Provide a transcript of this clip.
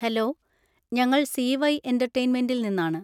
Hello, ഞങ്ങൾ C. Y എന്‍റർടൈൻമെന്‍റിൽ നിന്നാണ്.